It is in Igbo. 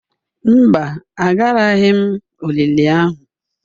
Mba, Agaraghị m olili ahụ.